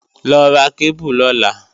Lọ ra kébù lọ́la!